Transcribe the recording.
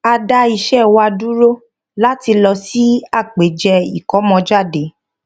a dá iṣẹ wa dúró láti lọ sí àpèjẹ ìkómọjáde